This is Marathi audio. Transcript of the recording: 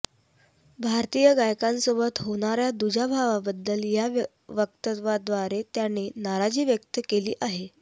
भारतीय गायकांसोबत होणाऱ्या दुजाभावाबद्दल या वक्तव्याद्वारे त्याने नाराजी व्यक्त केली आहे